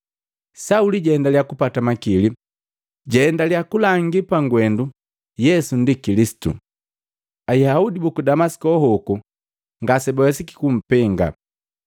Sauli jahendiliya kupata makili, na ejaendiliya kulangi pangwendu Yesu ndi Kilisitu, Ayaudi buku Damasiko hoku ngasebawesiki kumpenga.